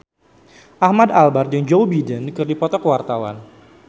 Ahmad Albar jeung Joe Biden keur dipoto ku wartawan